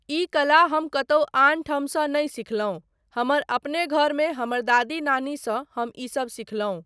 ई कला हम कतहुँ आनठामसँ नहि सिखलहुँ, हमर अपने घरमे हमर दादी नानी सँ हम ईसब सिखलहुँ।